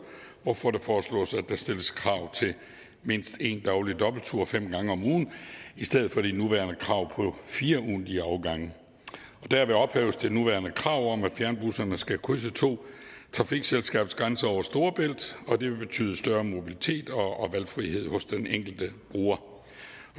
hvorfor der foreslås at der stilles krav om mindst en daglig dobbelttur fem gange om ugen i stedet for det nuværende krav om fire ugentlige afgange derved ophæves det nuværende krav om at fjernbusserne skal krydse to trafikselskabsgrænser over storebælt og det vil betyde større mobilitet og valgfrihed hos den enkelte bruger